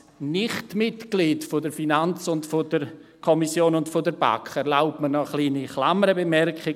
Als Nicht-Mitglied der FiKo und der BaK erlaube ich mir noch eine kleine Klammerbemerkung: